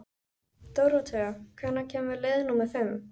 Dóróthea, hvenær kemur leið númer fimm?